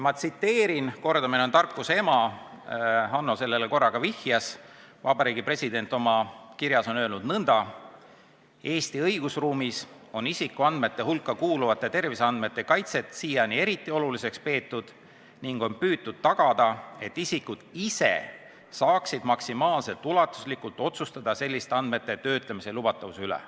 Ma tsiteerin – kordamine on tarkuse ema, Hanno sellele korra juba viitas –, Vabariigi President on oma kirjas öelnud nõnda: "Eesti õigusruumis on isikuandmete hulka kuuluvate terviseandmete kaitset siiani eriti oluliseks peetud ning on püütud tagada, et isikud ise saaksid maksimaalselt ulatuslikult otsustada selliste andmete töötlemise lubatavuse üle.